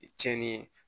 Cɛnni ye